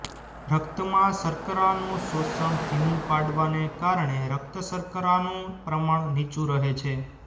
રક્તમાં શર્કરાનું શોષણ ધીમું પાડવાને કારણે રક્તશર્કરાનું પ્રમાણ નીચું રહે છે